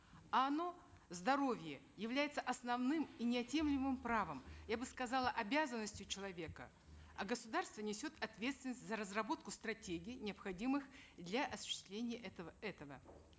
а оно здоровье является основным и неотъемлемым правом я бы сказала обязанностью человека а государство несет ответственность за разработку стратегий необходимых для осуществления этого этого